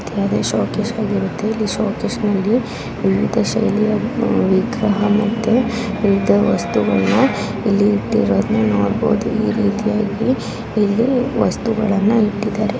ಅದೇ ಶೋಕೇಸ್ಗಳಿರುತ್ತೆ ಇಲ್ಲಿ ಶೋಕೇಶ್ ನಲ್ಲಿ ವಿವಿಧ ಶೈಲಿ ವಿಗ್ರಹ ಮತ್ತೆ ವಸ್ತುಗಳನ್ನು ಇಲ್ಲಿ ಇಟ್ಟಿರೋದನ್ನ ನೋಡಬಹುದು ಈ ರೀತಿಯಾಗಿ ಇಲ್ಲಿ ವಸ್ತುಗಳನ್ನು ಇಟ್ಟಿದ್ದಾರೆ.